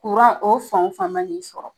Kuran o fan o fan ma n'i sɔrɔ